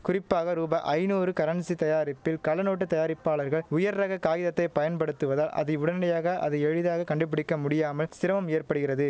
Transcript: குறிப்பாக ரூபாய் ஐநூறு கரன்சி தயாரிப்பில் கள்ளநோட்டு தயாரிப்பாளர்கள் உயர்ரக காகிதத்தைப் பயன்படுத்துவதால் அதை உடனடியாக அதை எளிதாக கண்டுபிடிக் கமுடியாமல் சிரமம் ஏற்படுகிறது